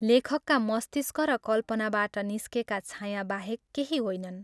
लेखकका मस्तिष्क र कल्पनाबाट निस्केका छाया बाहेक केही होइनन्।